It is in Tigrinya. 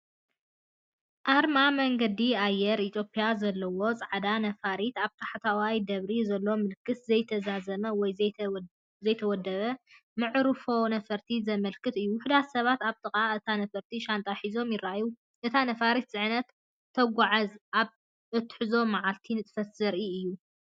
ኣርማ መንገዲ ኣየር ኢትዮጵያ ዘለዋ ጻዕዳ ነፋሪት፣ ኣብ ታሕተዋይ ደበሪ ዘሎ ምልክት ዘይተዛዘመ ወይ ዘይተወደበ መዓርፎ ነፈርቲ ዘመልክት እዩ። ውሑዳት ሰባት ኣብ ጥቓ እታ ነፋሪት ሻንጣ ክሕዙ ይረኣዩ። እታ ነፋሪት ጽዕነትን ተጓዓዝትን ኣብ እትሕዞ መዓልታዊ ንጥፈታት ዘርኢ እዩ።